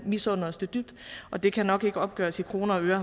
misunde os det dybt og det kan nok ikke opgøres i kroner og øre